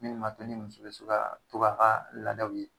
Min m'a to ni muso bɛ so kaa to k'a kaa laadaw ye.